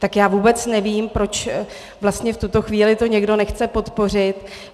Tak já vůbec nevím, proč vlastně v tuto chvíli to někdo nechce podpořit.